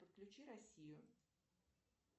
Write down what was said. подключи россию